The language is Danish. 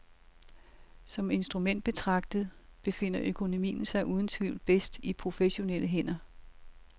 Som instrument betragtet befinder økonomien sig uden tvivl bedst i professionelle hænder.